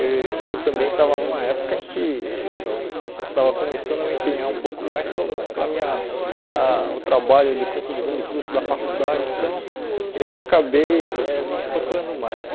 E eu também estava numa época em que eu estava começando a me empenhar um pouco mais para o para minha ah o trabalho de conclusão de curso da faculdade, então eu acabei eh não procurando mais.